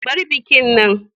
Bar bikin nan.